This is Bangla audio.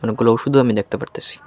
অনেকগুলো ওষুধও আমি দেখতে পারতেছি।